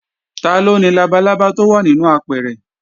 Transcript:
Taló ni labalábá tó wà nínú apẹ̀rẹ̀?